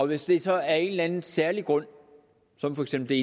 hvis det så af en eller anden særlig grund som for eksempel